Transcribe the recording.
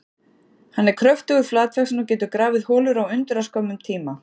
Hann er kröftugur, flatvaxinn og getur grafið holur á undraskömmum tíma.